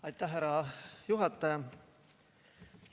Aitäh, härra juhataja!